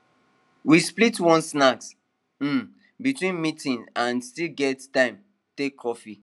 we split one snack um between meetings and still get time take coffee